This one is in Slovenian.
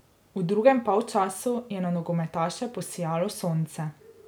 V drugem polčasu je na nogometaše posijalo sonce.